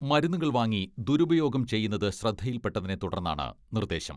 മരുന്നുകൾ വാങ്ങി ദുരുപയോഗം ചെയ്യുന്നത് ശ്രദ്ധയിൽപ്പെട്ടതിനെ തുടർന്നാണ് നിർദ്ദേശം.